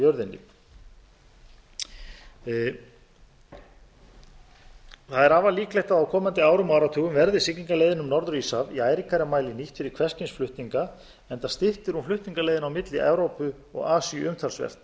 jörðinni það er afar líklegt að á komandi árum og áratugum verði siglingaleiðin um norður íshaf í æ ríkari mæli nýtt fyrir hvers kyns flutninga enda styttir hún flutningaleiðina milli evrópu og asíu umtalsvert